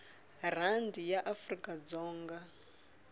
rhandi ya afrikadzonga